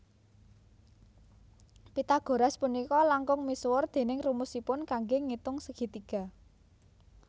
Pythagoras punika langkung misuwur déning rumusipun kanggé ngitung segi tiga